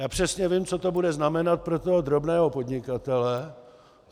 Já přesně vím, co to bude znamenat pro toho drobného podnikatele.